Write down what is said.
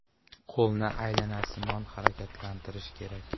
Qo‘lni aylanasimon harakatlantirish kerak.